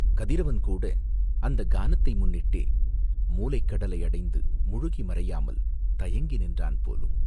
கதிரவன் கூட அந்தக் கானத்தை முன்னிட்டே மூலைக் கடலை அடைந்து முழுகி மறையாமல் தயங்கி நிற்கின்றான் போலும்.